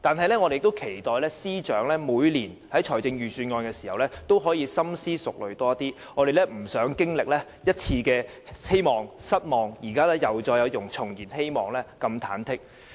不過，我們期待司長在每年制訂預算案時可以更深思熟慮，因為實在不想再次經歷希望變失望，然後又重燃希望的忐忑心情。